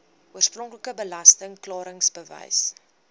oorspronklike belasting klaringsbewys